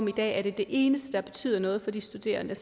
i dag er det eneste der betyder noget for de studerende